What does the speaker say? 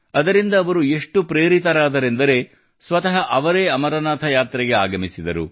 ಅದರಿಂದ ಅವರು ಎಷ್ಟು ಪ್ರೇರಿತರಾದರೆಂದರೆ ಸ್ವತಃ ಅವರೇ ಅಮರನಾಥ ಯಾತ್ರೆಗೆ ಆಗಮಿಸಿದರು